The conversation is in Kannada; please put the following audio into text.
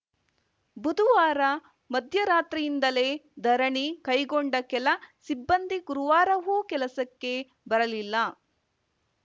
ಬುಧವಾರ ಮಧ್ಯರಾತ್ರಿಯಿಂದಲೇ ಧರಣಿ ಕೈಗೊಂಡ ಕೆಲ ಸಿಬ್ಬಂದಿ ಗುರುವಾರವೂ ಕೆಲಸಕ್ಕೆ ಬರಲಿಲ್ಲ